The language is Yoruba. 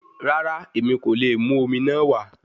Rara, Emi ko le mu omi naa wa